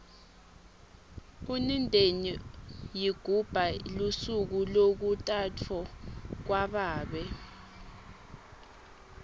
unindeni ygubha lusuku lokutafwo kwababe